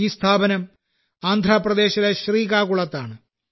ഈ സ്ഥാപനം ആന്ധ്രാപ്രദേശിലെ ശ്രീകാകുളത്താണ്